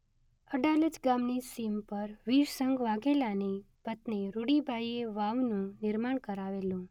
અડાલજ ગામની સીમ પર વીરસંઘ વાધેલાની પત્ની રૂડીબાઇએ વાવનું નિર્માણ કરાવેલું.